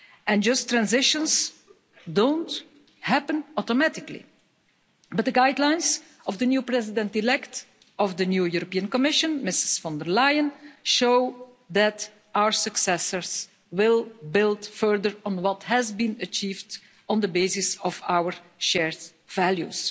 And just transitions don't happen automatically. But the guidelines of the new President elect of the new European Commission, Ms von der Leyen, show that our successors will build further on what has been achieved on the basis of our shared values.